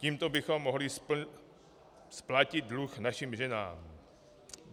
Tímto bychom mohli splatit dluh našim ženám.